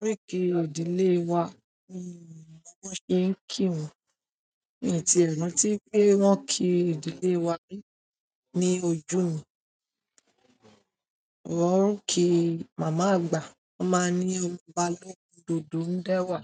oríkì ìdílé wa mi n mo bi wọn ṣé ń kí wọ́n, mi o ti è ran tí pé wọ́n ń kí ìdílé wa ri ní ojú mi. Wọ́n ń kí "mama àgbà", wọ́n máa ń ní "ọba lọ́kun dodo ń da wà".